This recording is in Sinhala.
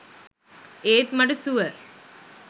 ඒත් මට සුවර්